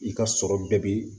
I ka sɔrɔ bɛɛ bi